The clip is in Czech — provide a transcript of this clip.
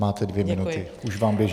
Máte dvě minuty, už vám běží.